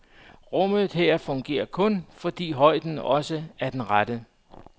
Rummet her fungerer kun, fordi højden også er den rette.